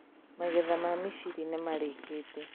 Magetha ma mĩciri nĩmarĩkite